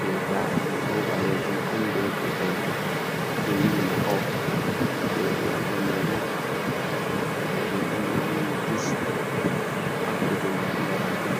Jey gaa’en ɗo ɓaleejum on be boɗeejum, ɗo vinndi makow, jey ɗiɗabre may bo daneejum on, ɗo vinndi jus, pat kuje njaram on.